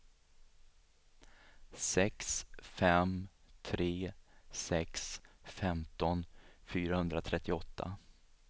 sex fem tre sex femton fyrahundratrettioåtta